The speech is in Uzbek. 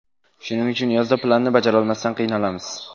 Shuning uchun yozda planni bajarolmasdan qiynalamiz.